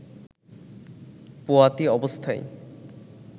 পোয়াতি অবস্থায়